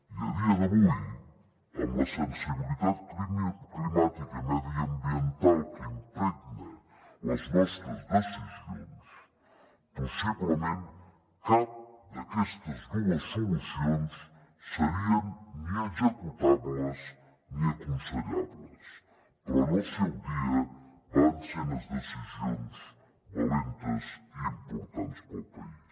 i a dia d’avui amb la sensibilitat climàtica i mediambiental que impregna les nostres decisions possiblement cap d’aquestes dues solucions serien ni executables ni aconsellables però en el seu dia van ser unes decisions valentes i importants per al país